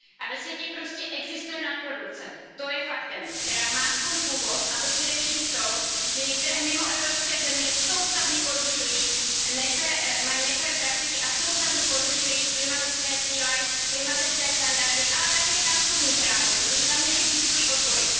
A ve světě prostě existuje nadprodukce, to je fakt, která má svůj původ především v tom, že některé mimoevropské země mají nefér praktiky a soustavně porušují klimatické cíle, klimatické standardy, ale také pracovní právo, protože tam neexistují odbory.